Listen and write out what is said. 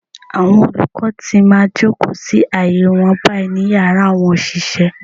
Àwọn olùkọ́ ti máa jòkó sí àyè wọn báyìí. ní Yàrá àwọn òṣìṣẹ́.